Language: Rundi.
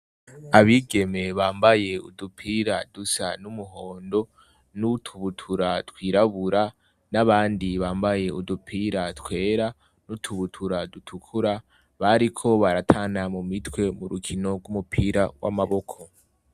Abigeme bambaye udupira dusa n'umuhondo n'utubutura twirabura, n'abandi bambaye udupira twera n'utubutura dutukura, bariko baratana mumitwe mu rukino rw'umupira w'amaboko.